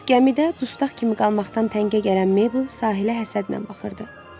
Gəmidə dustaq kimi qalmaqdan təngə gələn Meybl sahilə həsədlə baxırdı.